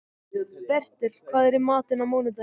Bertel, hvað er í matinn á mánudaginn?